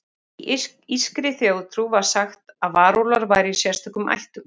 Í írskri þjóðtrú var sagt að varúlfar væru í sérstökum ættum.